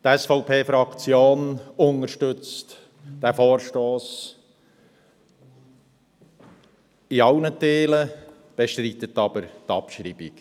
Die SVPFraktion unterstützt diesen Vorstoss in allen Teilen, bestreitet jedoch die Abschreibung.